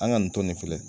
An ka nin to nin filɛ